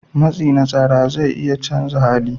Matsi na tsara zai iya canza hali.